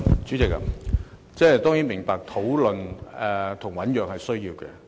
主席，我當然明白討論及醞釀是需要的。